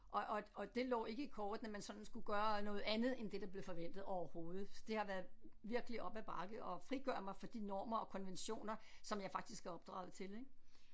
Og og og det lå ikke i kortene at man sådan skulle gøre noget andet end det der blev forventet overhovedet det har været virkelig op ad bakke at frigøre mig fra de normer og konventioner som jeg faktisk er opdraget til ik